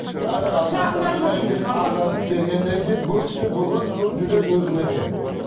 яғни адам бергеннен кейін бұл кісі бүгін сол жүрек өзінікі